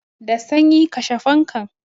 Da sanyi, kashe fankan!